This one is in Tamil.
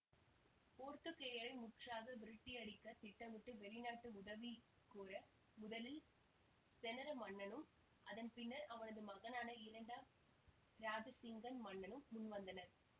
போர்த்துக்கேயரை முற்றாக விரட்டியடிக்கத் திட்டமிட்டு வெளிநாட்டு உதவிகோர முதலில் செனரத் மன்னனும் அதன் பின்னர் அவனது மகனான இரண்டாம் இராஜசிங்கன் மன்னனும் முன்வந்தனர்